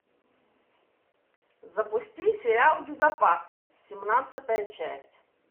запусти сериал безопасность семнадцатая часть